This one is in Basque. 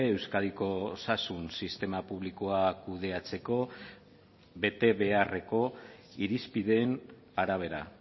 euskadiko osasun sistema publikoa kudeatzeko bete beharreko irizpideen arabera